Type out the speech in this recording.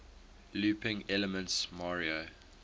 looping elements mario